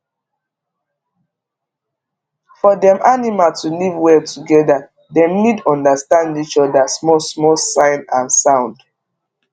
for dem animal to live well together dem need understand each other small small sign and sound